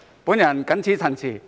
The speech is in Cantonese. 我謹此陳辭。